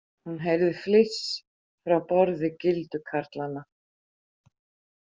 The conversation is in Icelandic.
Hún heyrði fliss frá borði gildu karlanna.